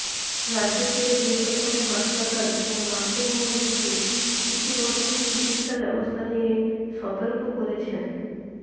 রাজ্য জুড়ে বেসরকারি হাসপাতাল ও নার্সিংহোমগুলিতে ইতিমধ্যেই চিকিৎসা ব্যবস্থা নিয়ে সতর্ক করেছেন